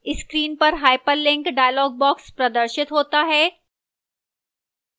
screen पर hyperlink dialog प्रदर्शित होता है